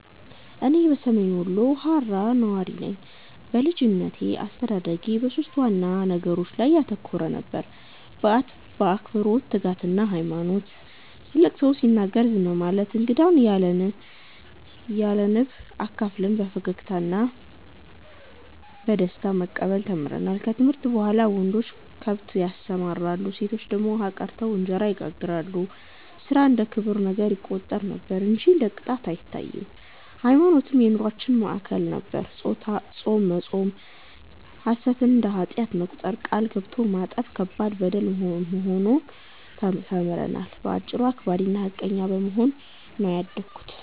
እኔ ሰሜን ወሎ ሃራ ነዋሪ ነኝ። በልጅነቴ አስተዳደጌ በሦስት ዋና ነገሮች ላይ ያተኮረ ነበር፤ አክብሮት፣ ትጋትና ሃይማኖት። ትልቅ ሰው ሲናገር ዝም ማለት፣ እንግዳን ያለንብ አካፍለን በፈገግታ እና በደስታ መቀበል ተምረናል። ከትምህርት በኋላ ወንዶች ከብት ያሰማራሉ፣ ሴቶች ደግሞ ውሃ ቀድተው እንጀራ ይጋግራሉ፤ ሥራ እንደ ክብር ይቆጠር ነበር እንጂ እንደ ቅጣት አይታይም። ሃይማኖትም የኑሮአችን ማዕከል ነበር፤ ጾም መጾም፣ ሐሰትን እንደ ኃጢአት መቁጠር፣ ቃል ገብቶ ማጠፍ ከባድ በደል ሆኖ ተምረናል። በአጭሩ አክባሪና ሃቀኛ በመሆን ነው ያደግነው።